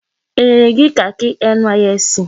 E nyere gị kakị NYSC?